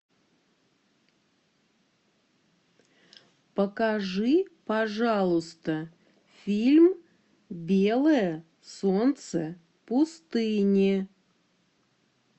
покажи пожалуйста фильм белое солнце пустыни